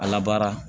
A labaara